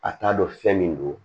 A t'a dɔn fɛn min don